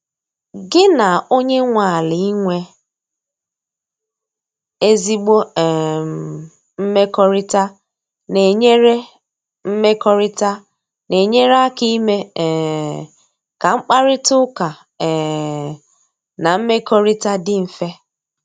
gi na onye nwe ala inwe ezigbo um mmekọrịta na-enyere mmekọrịta na-enyere aka ime um ka mkparịta ụka um na mmekọrịta dị mfe.